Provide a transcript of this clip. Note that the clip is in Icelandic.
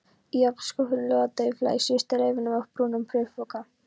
Í ofnskúffunni logaði dauflega í síðustu leifunum af brúnum bréfpoka.